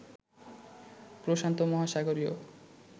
প্রশান্ত মহাসাগরীয়